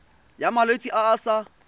ya malwetse a a sa